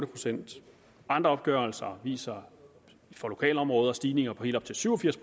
procent andre opgørelser viser for lokalområder stigninger på helt op til syv og firs